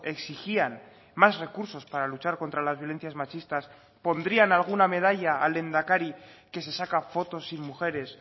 exigían más recursos para luchar contra las violencias machistas pondrían alguna medalla al lehendakari que se saca fotos sin mujeres